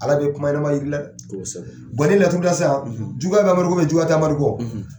Ala be kuma ɲɛnɛma yir'i la dɛ. Koosɛbɛ. n'i ye laturu da sisaan, juguya bɛ Amadu ko juguya te Amadu kɔ,